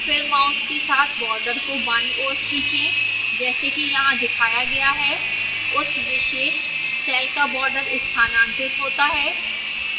फिर mouse के साथ border को बाईं ओर खींचें जैसा कि यहां दिखाया गया है उस विशेष सेल का border स्थानांतरित होता है